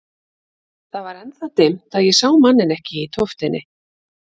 Það var enn það dimmt að ég sá manninn ekki í tóftinni.